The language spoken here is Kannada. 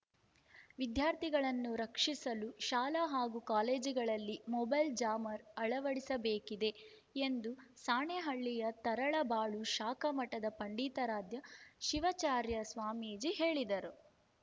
ವಿದ್ಯಾರ್ಥಿಗಳನ್ನು ರಕ್ಷಿಸಲು ಶಾಲೆ ಹಾಗೂ ಕಾಲೇಜುಗಳಲ್ಲಿ ಮೊಬೈಲ್‌ ಜಾಮರ್‌ ಅಳವಡಿಸಬೇಕಿದೆ ಎಂದು ಸಾಣೆಹಳ್ಳಿಯ ತರಳಬಾಳು ಶಾಖಾ ಮಠದ ಪಂಡಿತಾರಾಧ್ಯ ಶಿವಾಚಾರ್ಯ ಸ್ವಾಮೀಜಿ ಹೇಳಿದರು